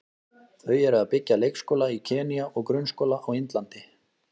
Þau eru að byggja leikskóla í Kenýa og grunnskóla á Indlandi.